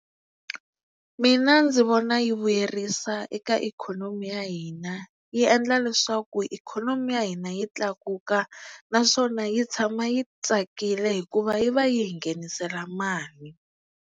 Mina ndzi vona yi vuyerisa eka ikhonomi ya hina yi endla leswaku ikhonomi ya hina yi tlakuka naswona yi tshama yi tsakile hikuva yi va yi hi nghenisela mali.